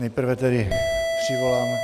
Nejprve tedy přivolám...